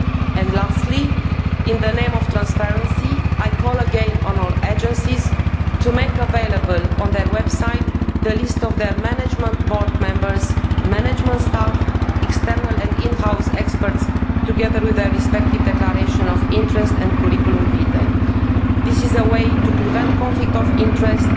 And lastly, in the name of transparency, I call once again on all agencies to make available on their websites a list of their management board members, management staff and external and in house experts, together with their respective declarations of interest and curriculum vitae. This is a way of preventing conflicts of interest,